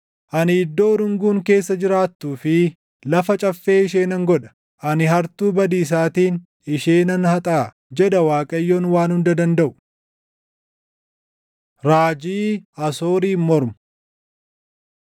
“Ani iddoo urunguun keessa jiraattuu fi lafa caffee ishee nan godha; ani hartuu badiisaatiin ishee nan haxaaʼa” jedha Waaqayyoon Waan Hunda Dandaʼu. Raajii Asooriin Mormu